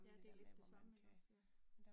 Ja, det lidt det samme ikke også ja